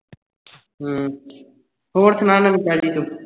ਹਮ ਹੋਰ ਸੁਣਾ ਨਵੀਂ ਤਾਜੀ ਤੂੰ